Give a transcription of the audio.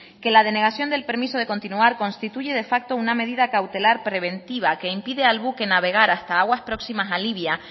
que la denegación del permiso de continuar constituye de facto una medida cautelar preventiva que impide al buque navegar hasta aguas próximas a libia